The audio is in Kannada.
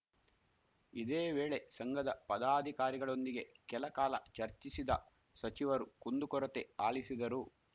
ಇದೇ ವೇಳೆ ಸಂಘದ ಪದಾಧಿಕಾರಿಗಳೊಂದಿಗೆ ಕೆಲ ಕಾಲ ಚರ್ಚಿಸಿದ ಸಚಿವರು ಕುಂದುಕೊರತೆ ಆಲಿಸಿದರು